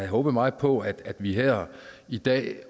håbet meget på at vi her i dag